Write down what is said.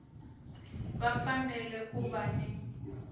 va fanele ku va ni